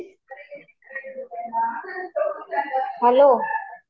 hello